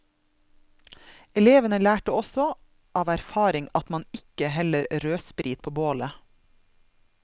Elevene lærte også av erfaring at man ikke heller rødsprit på bålet.